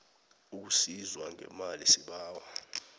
ukusizwa ngemali sibawa